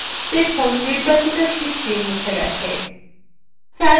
দেখুন নির্বাচিত sheetsthe গেছে